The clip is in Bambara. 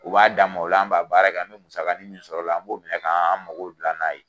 U b'a dan m'o la, o la anw b'a baara kɛ, an bɛ musaga nin min sɔrɔ o la, an b'o minɛ k'an mago dila n'a ye.